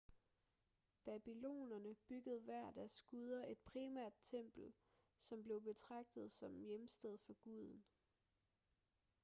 babylonerne byggede hver af deres guder et primært tempel som blev betragtet som hjemsted for guden